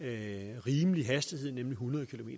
ikke